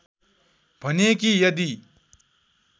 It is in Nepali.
भने कि यदि